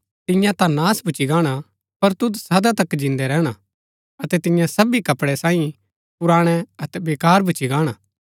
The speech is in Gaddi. तियां ता नाश भूच्ची गाहणा पर तुद सदा तक जिन्दा रैहणा अतै तियां सबी कपड़ै सांईं पुराणै अतै बेकार भूच्ची गाहणा